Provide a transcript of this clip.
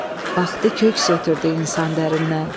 Baxdı köks ötrdü insan dərindən.